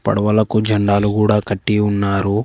పడవలకు జెండాలు కూడ కట్టి ఉన్నారు.